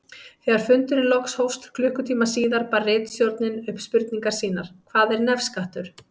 Þegar fundurinn loksins hófst klukkutíma síðar bar ritstjórnin upp spurningar sínar: Hvað er nefskattur?